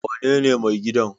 wanene mai gidan?